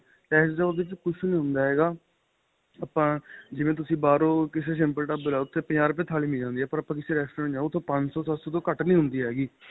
ਚਾਹੇ ਉਹਦੇ ਵਿੱਚ ਕੁੱਛ ਨਹੀਂ ਹੁੰਦਾ ਹੈਗਾ ਆਪਾਂ ਜਿਵੇ ਤੁਸੀਂ ਬਾਹਰੋ ਕਿਸੇ simple ਢਾਬੇ ਲਾਲੋ ਪੰਜਾਹ ਰੁਪਏ ਥਾਲੀ ਮਿਲ ਜਾਂਦੀ ਪਰ ਆਪਾਂ ਕਿਸੇ Restaurant ਜਾਵੋ ਉਥੋ ਪੰਜਸੋ ਸੱਤਸੋ ਤੋ ਘੱਟ ਨਹੀਂ ਹੁੰਦੀ ਹੈਗੀ